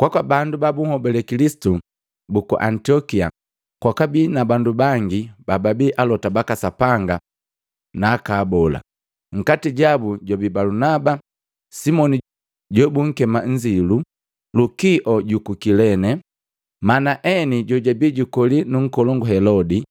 Kwaka bandu ba bunhobale Kilisitu buku Antiokia kwakabi na bandu bangi bababi alota baka Sapanga na aka abola, nkati jabu jwabi Balunaba, Simoni jobunkema Nzilu, Lukio juku Kilene, Manaeni jojabi jukoli nu nkolongu Helodi,